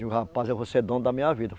Digo, rapaz, eu vou ser dono da minha vida.